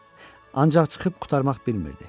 Ancaq çıxıb qurtarmaq bilmirdi.